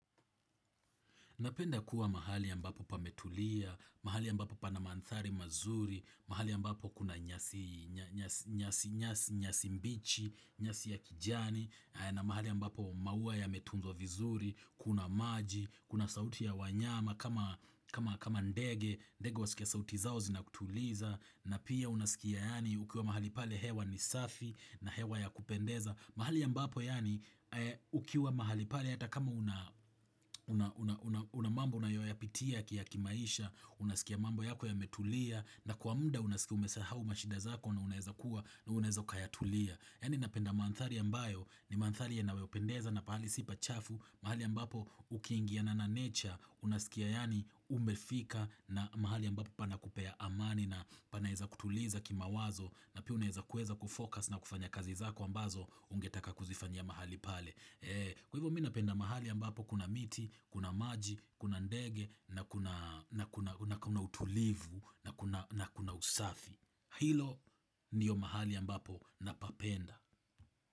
Napenda kuwa mahali ambapo pametulia, mahali ambapo pana manthari mazuri, mahali ambapo kuna nyasi mbichi, nyasi ya kijani, na mahali ambapo maua yametunzwa vizuri, kuna maji, kuna sauti ya wanyama, kama ndege, ndege wasikia sauti zao zinakutuliza, na pia unasikia yani ukiwa mahali pale hewa ni safi na hewa ya kupendeza. Mahali ambapo yani ukiwa mahali pale hata kama una mambo unayoyapitia ya kimaisha Unasikia mambo yako yametulia na kwa mda unasikia umesahau mashida zako na unaeza ukayatulia Yani napenda mandhari ambayo ni maandhari yanavyopendeza na pahali si pachafu mahali ambapo ukiingiana na nature unasikia yani umefika na mahali ambapo panakupea amani na panaeza kutuliza kimawazo na pia unaeza kueza kufocus na kufanya kazi zako ambazo ungetaka kuzifanya mahali pale Kwa hivyo mi napenda mahali ambapo kuna miti, kuna maji, kuna ndege na kuna utulivu na kuna usafi Hilo ndio mahali ambapo napapenda.